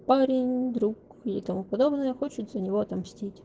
парень друг и тому подобное хочет за него отомстить